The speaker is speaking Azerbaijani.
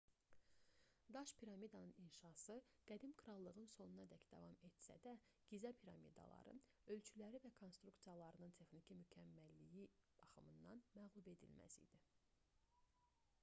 daş piramidanın inşası qədim krallığın sonunadək davam etsə də gizə piramidaları ölçüləri və konstruksiyalarının texniki mükəmməlliyi baxımından məğlubedilməz idi